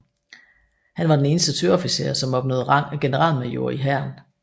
Han var den eneste søofficer som opnåede rang af generalmajor i hæren